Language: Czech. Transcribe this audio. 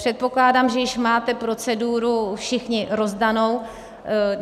Předpokládám, že již máte proceduru všichni rozdanou.